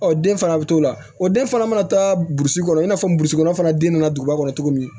Ɔ den fana bɛ to o la o den fana mana taa burusi kɔnɔ i n'a fɔ burusikɔnɔ fana den nana duguba kɔnɔ cogo min